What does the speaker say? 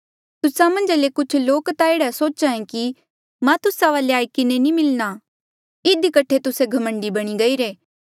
तुस्सा मन्झा ले कुछ लोक ता एह्ड़ा सोचे कि मां तुस्सा वाले आई किन्हें नी मिलणा इधी कठे तुस्से घमंडी बणी गईरे